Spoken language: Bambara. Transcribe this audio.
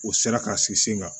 U sera ka sigi sen kan